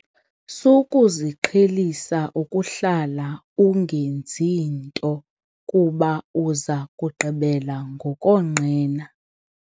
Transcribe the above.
Sukuziqhelisa ukuhlala ungenzi nto kuba uza kugqibela ngokonqena.